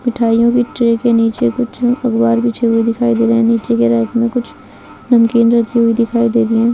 मिठाइयों की ट्रे के नीचे कुछ अखबार बिछे हुए दिखाई दे रहे है नीचे की रैक में कुछ नमकीन रखी हुई दिखाई दे रही हैं।